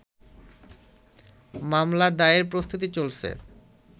মামলা দায়েরের প্রস্তুতি চলছে